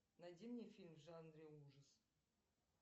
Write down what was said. найди мне фильм в жанре ужасы